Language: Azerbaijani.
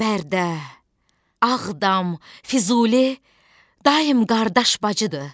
Bərdə, Ağdam, Füzuli daim qardaş bacıdır.